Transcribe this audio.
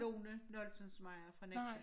Lone Noltensmejer fra Nexø